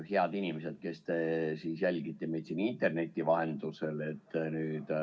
Head inimesed, kes te jälgite meid interneti vahendusel!